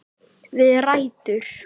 Við rætur